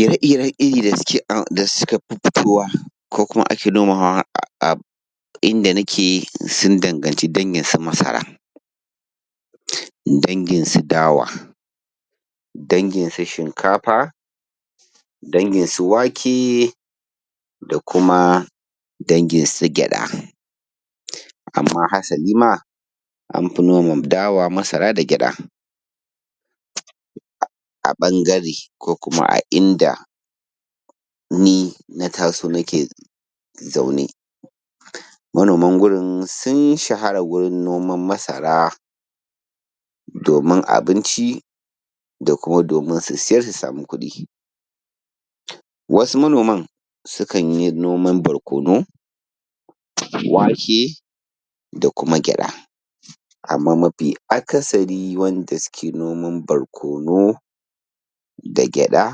Ire-iren iri da suka fi fitowa, ko kuma ake nomawa a inda nake, sun danganci dangin su masara; dangin su dawa; dangin su shinkafaa; dangin su wake; da kuma dangin su gyaɗa. Amma hasali ma, an fi noma dawa, masara da gyaɗa. A ɓangare, ko kuma a inda ni na taso nake zaune. Manoman gurin sun shahara gurin noman masara, domin abinci da kuma domin su siyar su samu kuɗi. Wasu manoman, sukan yi noman barkono, wake, da kuma gyaɗa. Amma mafi akasari wanda suke noman barkono, da gyaɗa,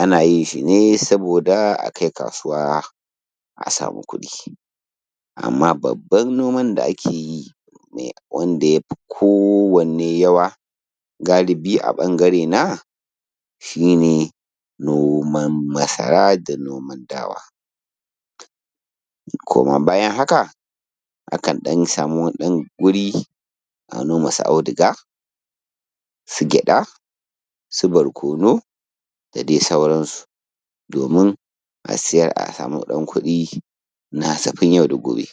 ana yin shi ne saboda a kai kasuwa, a samu kuɗi. Amma babban noman da ake yi, wanda ya fi kowanne yawa, galibi a ɓangarena, shi ne noman masara da noman dawa. Kuma bayan haka, akan ɗan samu wani ɗan wuri, a noma su auduga; su gyaɗa; su barkono, da dai sauransu, domin a siyar, a samu ɗan kuɗi na hasafin yau da gobe.